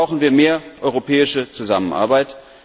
Auch hier brauchen wir mehr europäische Zusammenarbeit.